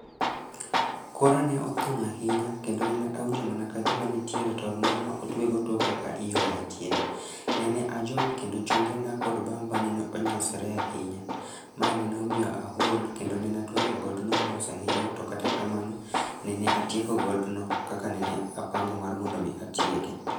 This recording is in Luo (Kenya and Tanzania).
Kora ne othung' ahinya, kendo nene awinjo mana kagima nitiere tol moro ma otwego toka ka iywaya chien,. Nene ajony kendo chongena kod bamba nene onyosre ahinya. Mae nene omiyo ahol kendo nene atwenyo godno mos ahinya. To kata kamano, nene atieko godno kaka nene apango mar mondo mi atieke